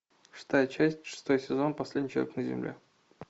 шестая часть шестой сезон последний человек на земле